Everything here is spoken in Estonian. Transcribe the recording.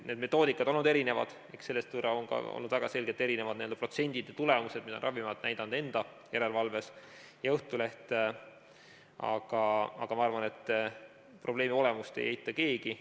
Need metoodikad on olnud erinevad, väga selgelt erinevad on olnud need protsendid ja tulemused, mida Ravimiamet on näidanud enda järelevalves ja mida on näidanud Õhtuleht, aga ma arvan, et probleemi olemust ei eita keegi.